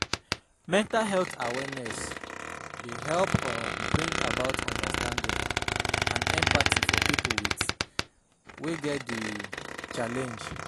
Mental health awareness dey help um bring about understanding and empathy for pipo with wey get di challenge